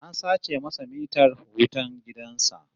An sace masa mitar wutan gidan sa